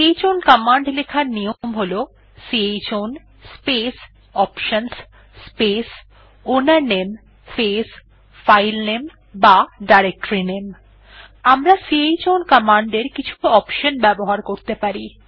chown command লেখার নিয়ম হল chown space options space owner name space filename বা ডিরেক্টরিনামে আমরা চাউন কমান্ড এর কিছু অপশনস ব্যবহার করতে পারি